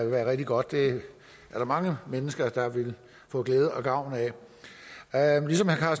være rigtig godt det er der mange mennesker der ville få glæde og gavn af ligesom herre